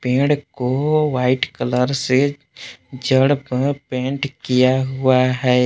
पेड़ को white colour से जड़ पर पेंट किया हुआ है।